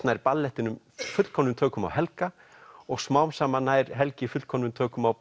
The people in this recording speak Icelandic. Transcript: nær ballettinn fullkomnum tökum á Helga og smám saman nær Helgi fullkomnum tökum á